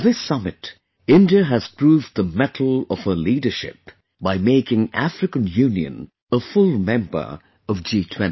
In this summit, India has proved the mettle of her leadership by making African Union a full member of G20